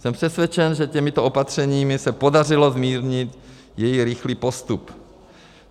Jsem přesvědčen, že těmito opatřeními se podařilo zmírnit její rychlý postup.